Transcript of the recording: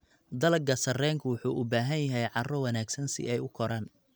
Dalagga sarreenku wuxuu u baahan yahay carro wanaagsan si ay u koraan.